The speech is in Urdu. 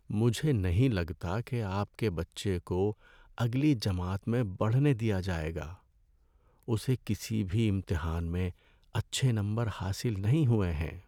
مجھے نہیں لگتا کہ آپ کے بچے کو اگلی جماعت میں بڑھنے دیا جائے گا۔ اسے کسی بھی امتحان میں اچھے نمبر حاصل نہیں ہوئے ہیں۔